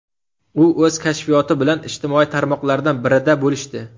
U o‘z kashfiyoti bilan ijtimoiy tarmoqlardan birida bo‘lishdi.